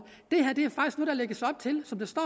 som der står